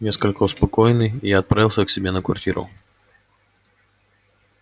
несколько успокоенный я отправился к себе на квартиру